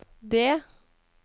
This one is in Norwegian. D